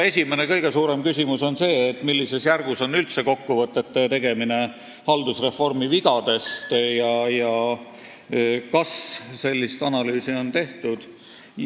Esimene ja kõige suurem küsimus on see, millises järgus on kokkuvõtete tegemine haldusreformi vigadest ja kas sellist analüüsi on üldse tehtud.